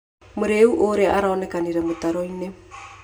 Mũrĩĩu ũrĩa arakomire mũtaro-inĩ.